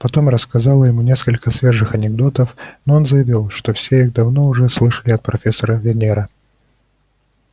потом рассказала ему несколько свежих анекдотов но он заявил что все их давно уже слышал от профессора венера